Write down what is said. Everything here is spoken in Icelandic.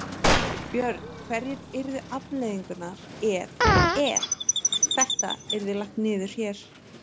Björn: Hverjar yrðu afleiðingarnar ef, ef þetta yrði lagt niður hér?